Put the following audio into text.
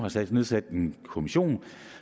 nedsat en kommission